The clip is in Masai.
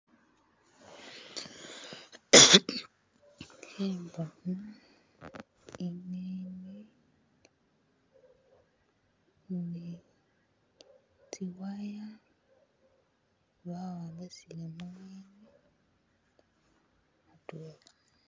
Khembona ingeni nitsiwaya ba'wambisile mungeni atwela